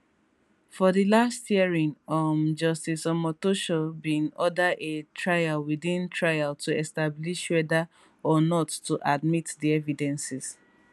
for di last hearing um justice omotosho bin order a trial within trial to establish weda or not to admit di evidences